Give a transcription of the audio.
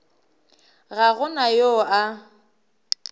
ga go na yo a